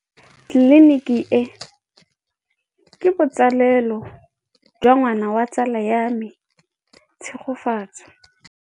Tleliniki e, ke botsalêlô jwa ngwana wa tsala ya me Tshegofatso.